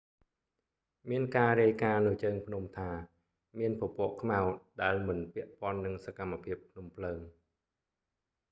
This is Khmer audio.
មានការរាយការណ៍នៅជើងភ្នំថា មានពពកខ្មៅដែលមិនពាក់ព័ន្ធនឹងសកម្មភាពភ្នំភ្លើង